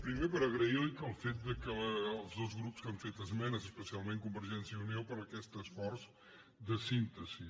primer per agrair als dos grups que han fet esmenes especialment convergència i unió aquest esforç de síntesi